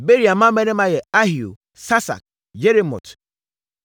Beria mmammarima yɛ Ahio, Sasak, Yeremot,